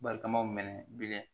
Barikamaw minɛ bilen